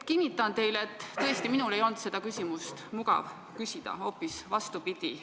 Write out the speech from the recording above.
Kinnitan teile, et tõesti minul ei olnud seda küsimust mugav küsida, hoopis vastupidi.